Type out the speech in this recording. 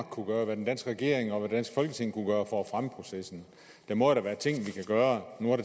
kunne gøre hvad den danske regering og hvad det folketing kunne gøre for at fremme processen der må jo da være ting vi kan gøre nu er